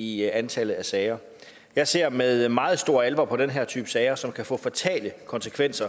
i antallet af sager jeg ser med meget stor alvor på den her type sager som kan få fatale konsekvenser